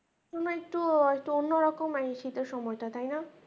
কোনও একটু হয়তো অন্য রকম নাকি শীতের সময়টা তাই না।